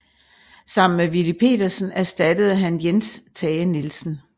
Sammen med Willy Pedersen erstattede han Jens Tage Nielsen